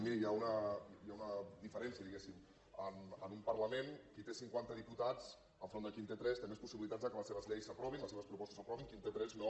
miri hi ha una diferència diguéssim en un parlament qui té cinquanta diputats enfront de qui en té tres té més possibilitats que les seves lleis s’aprovin les seves propostes s’aprovin qui en té tres no